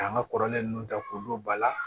K'an ka kɔrɔlen ninnu ta k'olu ba la